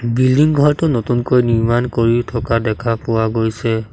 Building ঘৰটো নতুনকৈ নিৰ্মান কৰি থকা দেখা পোৱা গৈছে।